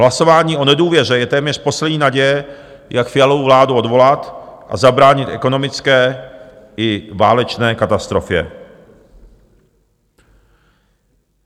Hlasování o nedůvěře je téměř poslední naděje, jak Fialovu vládu odvolat a zabránit ekonomické i válečné katastrofě.